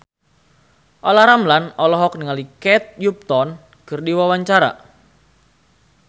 Olla Ramlan olohok ningali Kate Upton keur diwawancara